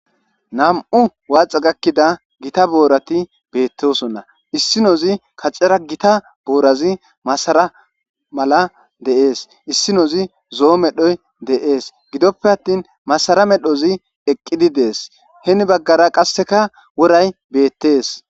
Nam,u waaxa gakkida gita boorati beettosonna issinozi kacera gita boorazi masara mala de7ees issinozi zoo medhoy deees gidoppe attin masara medhozi eqqidi dees heni baggara qasseka woray beettees.